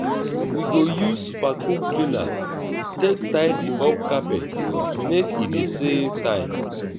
we go use vacuum cleaner take tidy up carpet make e dey save time.